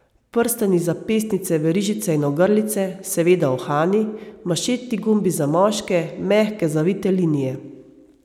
Prstani, zapestnice, verižice in ogrlice, seveda uhani, manšetni gumbi za moške, mehke, zavite linije.